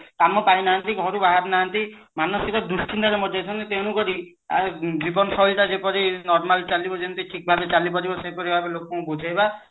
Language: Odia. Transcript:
କାମ ପାଇ ନାହାନ୍ତି ଘରୁ ବାହାରି ନାହାନ୍ତି ମାନସିକ ଦୁଶ୍ଚିନ୍ତା ରେ ମରି ଯାଇଛନ୍ତି ତେଣୁକରି ଆ ଜୀବନ ଶୈଳୀ ଟା ଯେପରି normal ଚାଲିବ ଯେମିତି ଠିକ ଭାବେ ଚାଲି ପାରିବ ସେହିପରି ଭାବେ ଲୋକଙ୍କୁ ବୁଝେଇବା